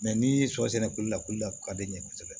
n'i y'i sɔrɔ sɛnɛko la a ka di n ye kosɛbɛ